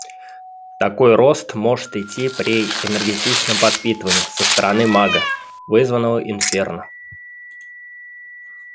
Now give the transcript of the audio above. такой рост может идти при энергетичном подпитывании со стороны мага вызванного инферно